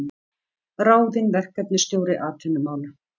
Ráðinn verkefnisstjóri atvinnumála